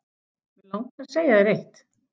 Mig langar að segja þér eitt.